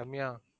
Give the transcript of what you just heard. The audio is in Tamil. ரம்யா